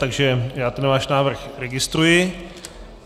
Takže já ten váš návrh registruji.